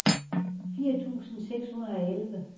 fire tusind seks hundrede og elleve